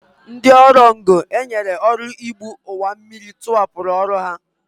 Ndị ọrụ ngo e nyere ọrụ igbu ọwammiri tụhapụrụ ọrụ ha